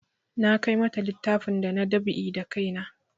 Na kai mata littafin da na dab'i da kai na